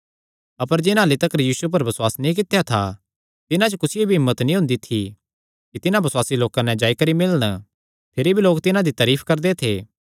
अपर जिन्हां अह्ल्ली तिकर यीशु पर बसुआस नीं कित्या था तिन्हां च कुसियो भी एह़ हिम्मत नीं हुंदी थी कि तिन्हां बसुआसी लोकां नैं जाई करी मिलन भिरी भी लोक तिन्हां दी तारीफ करदे थे